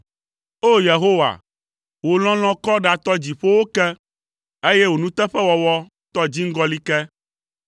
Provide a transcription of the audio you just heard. O! Yehowa, wò lɔlɔ̃ kɔ ɖatɔ dziƒowo ke, eye wò nuteƒewɔwɔ tɔ dziŋgɔli ke.